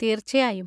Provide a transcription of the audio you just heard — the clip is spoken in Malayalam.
തീർച്ചയായും.